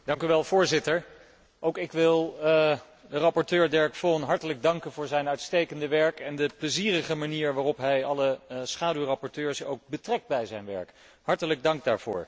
Voorzitter, ook ik wil rapporteur Derek Vaughan hartelijk danken voor zijn uitstekende werk en de plezierige manier waarop hij alle schaduwrapporteurs ook betrekt bij zijn werk. Hartelijk dank daarvoor.